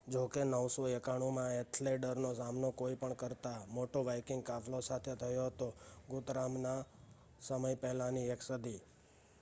જો કે 991 માં એથેલ્ડરનો સામનો કોઈ પણ કરતા મોટો વાઇકિંગ કાફલો સાથે થયો હતો, ગુથરામના સમય પહેલાની એક સદી